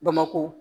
Bamakɔ